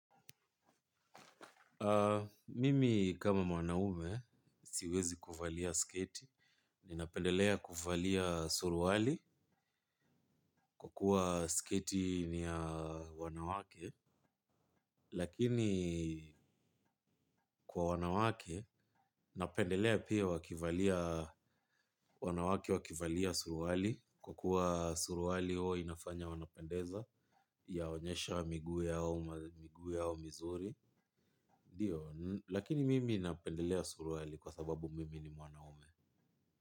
Mimi kama mwanaume siwezi kuvalia sketi, ninapendelea kuvalia suruali kwa kuwa sketi ni wanawake, lakini kwa wanawake napendelea pia wakivalia wanawake wakivalia suruali kwa kuwa suruali inafanya wanapendeza ya onyesha miguu yao mizuri, lakini mimi napendelea suruali kwa sababu mimi ni mwanaume.